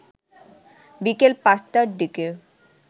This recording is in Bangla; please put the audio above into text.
বিকেল ৫টার দিকে